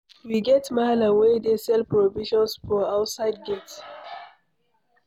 We get mallam wey dey sell provisions for outside gate.